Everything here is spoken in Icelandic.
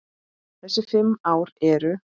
Þessi fimm ár eru